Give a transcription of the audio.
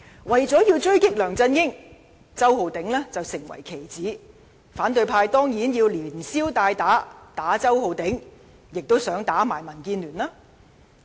為了狙擊梁振英，周浩鼎議員成了棋子，反對派當然想連消帶打，打擊周浩鼎議員之餘，亦想打擊民建聯。